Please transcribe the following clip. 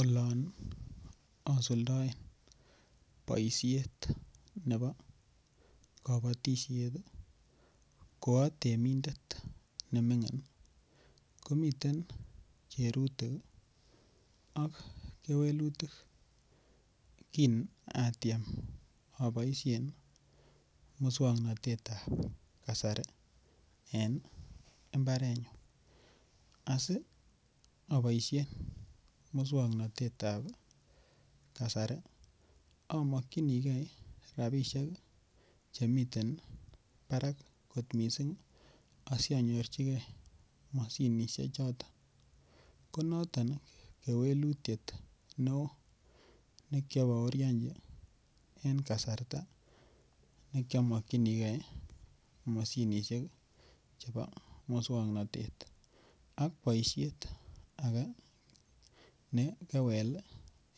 Olon osuldoen boishet nebo kobotishet ko otemindet nemingin komiten kerutik ak kewelutik kinatiem oboishen muswoknotetab kasari en imbarenyu, asi oboishen muswoknotetab kasari omokyinikee rabisiek chemiten barak osonyorjigee moshinishechoto konoton kewelutiet neo nekioboorionji en kasarta nekiomokyinikee moshinishek chebo muswoknotet, ak boishet ake nekewel